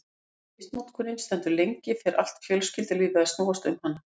Ef misnotkunin stendur lengi fer allt fjölskyldulífið að snúast um hana.